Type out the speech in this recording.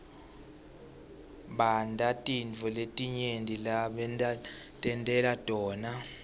bantatintfo letinyenti lebatentela tona